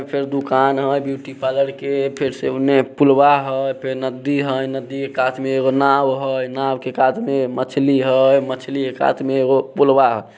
दुकान हय beauty parlour के फेर से पुलवा हय फेर नदी हय नदी के कात में नाव हय नाव के कात में मछली हय । मछली के कात पुलवा --